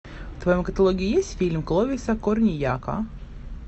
в твоем каталоге есть фильм кловиса корнийяка